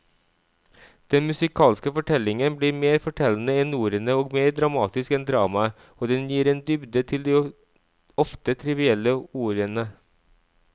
Den musikalske fortellingen blir mer fortellende enn ordene og mer dramatisk enn dramaet, og den gir en dybde til de ofte trivielle ordene.